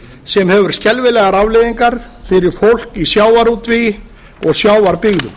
sem hefur skelfilegar afleiðingar fyrir fólk í sjávarútvegi og sjávarbyggðum